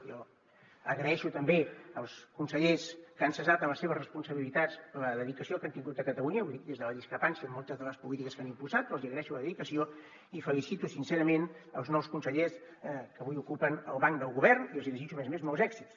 jo agraeixo també als consellers que han cessat en les seves responsabilitats la dedicació que han tingut a catalunya ho dic des de la discrepància en moltes de les polítiques que han impulsat però els hi agraeixo la dedicació i felicito sincerament els nous consellers que avui ocupen el banc del govern i els hi desitjo a més a més molts èxits